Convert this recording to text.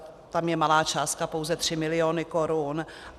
Tam je malá částka pouze 3 miliony korun.